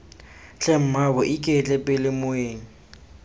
tlhe mmaabo iketle pele moeng